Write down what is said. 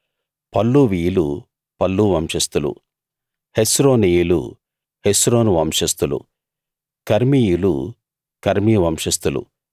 పల్లువీయులు పల్లు వంశస్థులు హెస్రోనీయులు హెస్రోను వంశస్థులు కర్మీయులు కర్మీ వంశస్థులు